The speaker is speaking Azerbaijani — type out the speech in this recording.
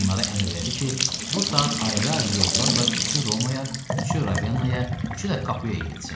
Onlara əmr elədi ki, bu saat ayrı-ayrı yollarla üçü Romaya, üçü Ravennaya, üçü də Kapuyaya getsün.